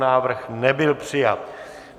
Návrh nebyl přijat.